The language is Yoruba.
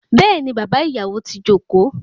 Béèni bàbá ìyàwó ti joko